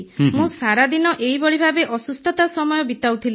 ମୁଁ ସାରାଦିନ ଏହିଭଳି ଭାବେ ଅସୁସ୍ଥତା ସମୟ ବିତାଉଥିଲି